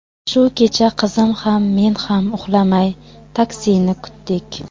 Shu kecha qizim ham, men ham uxlamay taksini kutdik.